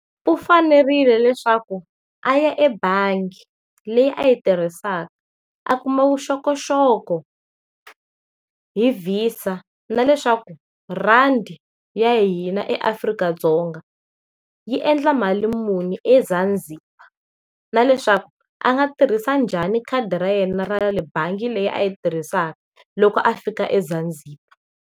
U fanerile leswaku a ya ebangi leyi a yi tirhisaka a kuma vuxokoxoko hi VISA na leswaku rhandi ya hina eAfrika-Dzonga yi endla mali muni eZanzibar, na leswaku a nga tirhisa njhani khadi ra yena ra le bangi leyi a yi tirhisaka loko a fika eZanzibar.